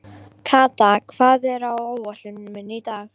Kata, hvað er á áætluninni minni í dag?